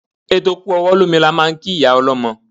Eto kú ọwọ́ lómi ni à ń kí ìyá ọlọ́mọ.